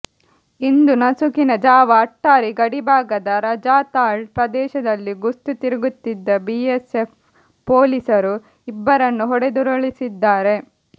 ಇಂದು ನಸುಕಿನ ಜಾವ ಅಟ್ಟಾರಿ ಗಡಿಭಾಗದ ರಜಾತಾಳ್ ಪ್ರದೇಶದಲ್ಲಿ ಗಸ್ತು ತಿರುಗುತ್ತಿದ್ದ ಬಿಎಸ್ಎಫ್ ಪೊಲೀಸರು ಇಬ್ಬರನ್ನು ಹೊಡೆದುರುಳಿಸಿದ್ದಾರೆ